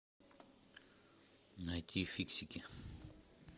найти фиксики